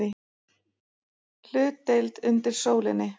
HLUTDEILD UNDIR SÓLINNI